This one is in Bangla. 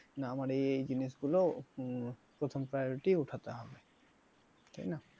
নানা আমার এই জিনিসগুলোউম প্রথম priority ওঠাতে হবে তাই না।